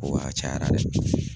Ko wa a cayara dɛ.